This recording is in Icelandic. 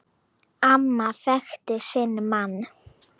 Amma þekkti sinn mann.